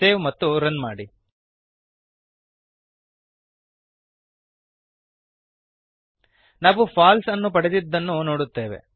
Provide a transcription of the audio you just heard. save ಮತ್ತು run ಮಾಡಿ ನಾವು ಫಾಲ್ಸೆ ಫಾಲ್ಸ್ಅನ್ನು ಪಡೆದದ್ದನ್ನು ನೋಡುತ್ತೇವೆ